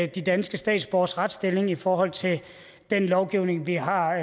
de danske statsborgeres retsstilling i forhold til den lovgivning vi har